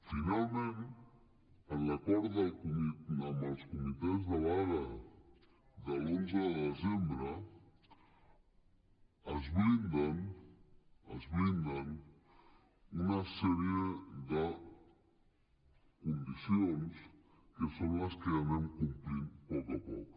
finalment en l’acord amb els comitès de vaga de l’onze de desembre es blinden es blinden una sèrie de condicions que són les que anem complint a poc a poc